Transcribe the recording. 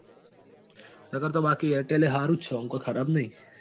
નકાર તો બાક airtel એ સારું જ છે. આમ કઈ ખરાબ નથી.